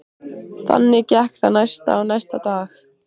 Loksins kom lítill karl á harðahlaupum með trillu.